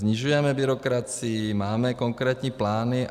Snižujeme byrokracii, máme konkrétní plány.